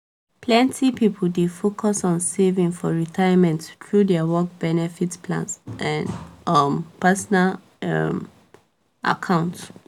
plenti people dey focus on saving for retirement through dia work benefit plans and um personal um accounts